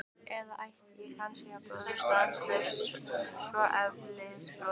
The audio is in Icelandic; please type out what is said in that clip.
Eða ætti ég kannski að brosa stanslaust, svona eilífðarbrosi?